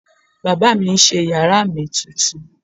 Baba mi n ṣe yara mi tuntun